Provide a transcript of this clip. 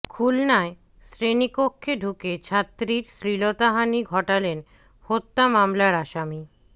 খুলনায় শ্রেণিকক্ষে ঢুকে ছাত্রীর শ্লীলতাহানি ঘটালেন হত্যা মামলার আসামি